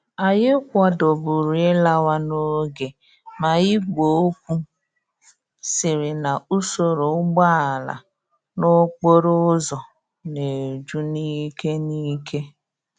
Anyi kwadoburu ilawa n'oge ma igwe okwu siri na usoro úgbòala n'okporo úzò na eju n'ike n'ike.